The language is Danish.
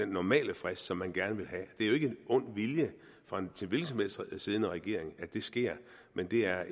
normale frist som man gerne vil have det er jo ikke af ond vilje fra en hvilken som helst siddende regering at det sker men det er